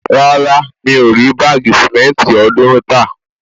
Rárá, mi ò rí báàgì sìmẹ́ntì ọ̀ọ́dúrún tà